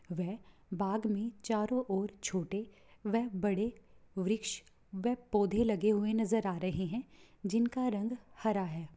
वे बाग में चारों ओर छोटे वे बड़े वृक्ष वे पौधे लगे हुए नज़र आ रहे है जिनका रंग हरा है।